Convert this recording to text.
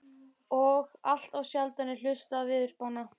Og allt of sjaldan er hlustað á veðurspána.